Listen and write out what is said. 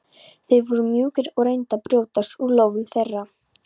Þeir voru mjúkir og reyndu að brjótast úr lófum þeirra.